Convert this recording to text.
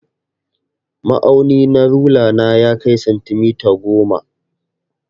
Ma'auni na rula na ya kai santimita goma.